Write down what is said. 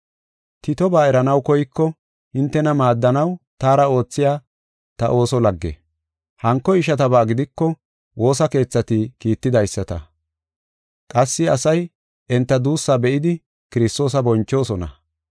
Titoba eranaw koyko, hintena maaddanaw taara oothiya ta ooso lagge. Hanko ishataba gidiko woosa keethati kiittidaysata; qassi asay enta duussa be7idi Kiristoosa bonchoosona.